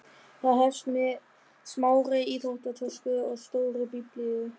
Það hefst með smárri íþróttatösku og stórri Biblíu.